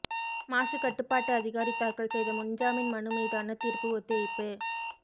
மாசு கட்டுப்பாட்டு அதிகாரி தாக்கல் செய்த முன்ஜாமீன் மனு மீதான தீர்ப்பு ஒத்திவைப்பு